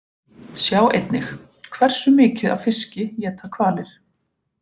Sjá einnig: Hversu mikið af fiski éta hvalir?